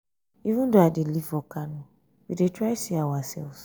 even though i dey live for kano we dey try see ourselves.